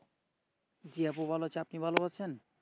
জি আপু ভালো আছেন আপনি ভালো আছেন?